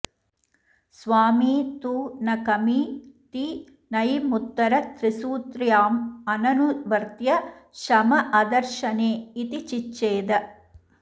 स्वामी तु न कमी ति नञमुत्तरत्रिसूत्र्यामननुवर्त्य शम अदर्शने इति चिच्छेद